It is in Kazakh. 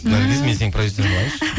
наргиз мен сенің продюсерің болайыншы